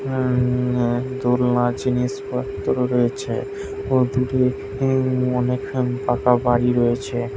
উম্ম দোলনা জিনিস পত্র রয়েছে। ও দূরে অনেক্ষন পাকা বাড়ি রয়েছে।